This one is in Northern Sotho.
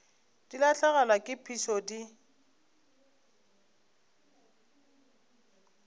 di lahlegelwa ke phišo di